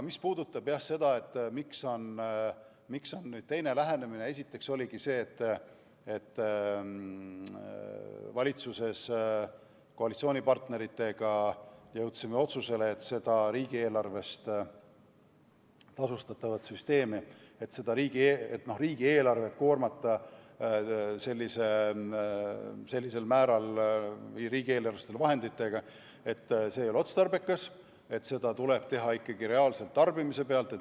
Mis puudutab seda, miks on nüüd teine lähenemine, siis esiteks oligi nii, et valitsuses jõudsime koalitsioonipartneritega otsusele, et ei ole otstarbekas koormata riigieelarvet sellisel määral, et tasu tuleks riigieelarvelistest vahenditest, ja seda tuleb arvestada ikkagi reaalse tarbimise pealt.